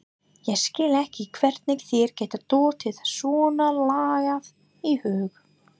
Ég skil ekki hvernig þér getur dottið svonalagað í hug!